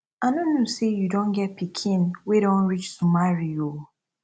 i no know say you don get pikin wey don reach to marry oo